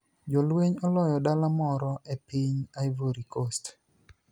Jolweniy oloyo dala moro e piniy Ivory Coast